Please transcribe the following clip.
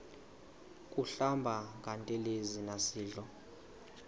kuhlamba ngantelezi nasidlo